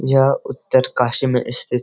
यह उत्तरकाशी में स्थित --